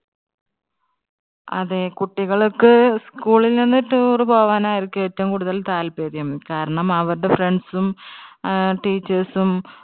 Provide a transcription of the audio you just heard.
അതെ കുട്ടികൾക്കു school ൽ നിന്നും toure പോകാൻ ആയിരിക്കും ഏറ്റവും കൂടുതൽ താല്പര്യം. കാരണം അവരുടെ friends ഉം ആഹ് teachers ഉം